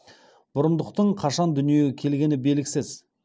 бұрындықтың қашан дүниеге келгені белгісіз